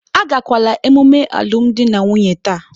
Agakwala ememe alụmdi na nwunye taa.